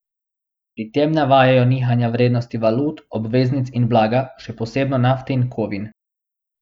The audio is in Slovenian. Pri tem navajajo nihanja vrednosti valut, obveznic in blaga, še posebno nafte in kovin.